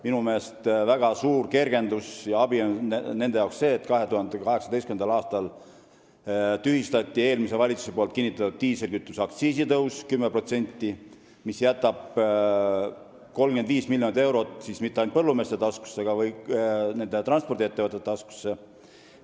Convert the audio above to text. Minu meelest on väga suur kergendus ja abi nende jaoks see, et tühistati eelmise valitsuse 2018. aastaks ette nähtud diislikütuse 10%-ne aktsiisitõus, mis jätab 35 miljonit eurot mitte ainult põllumeeste taskusse, vaid ka transpordiettevõtete taskusse.